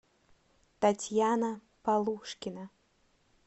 татьяна полушкина